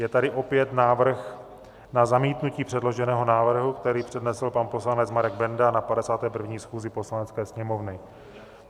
Je tady opět návrh na zamítnutí předloženého návrhu, který přednesl pan poslanec Marek Benda na 51. schůzi Poslanecké sněmovny.